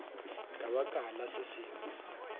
ka baka la se sengwe